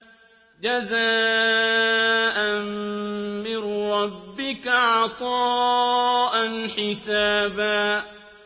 جَزَاءً مِّن رَّبِّكَ عَطَاءً حِسَابًا